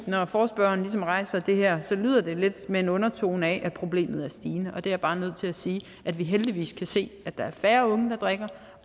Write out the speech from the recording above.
når forespørgerne rejser det her er det lidt med en undertone af at problemet er stigende og jeg er bare nødt til at sige at vi heldigvis kan se at der er færre unge der drikker